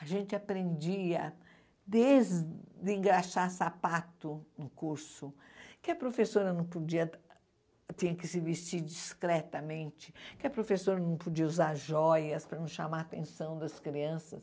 A gente aprendia desde engraxar sapato no curso, que a professora não podia, tinha que se vestir discretamente, que a professora não podia usar joias para não chamar a atenção das crianças.